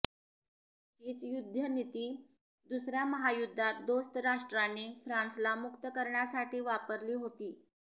हीच युद्धनिती दुसर्या महायुद्धात दोस्तराष्ट्रांनी फ्रांसला मुक्त करण्यासाठी वापरली होती